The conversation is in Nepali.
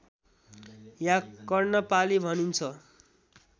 या कर्णपाली भनिन्छ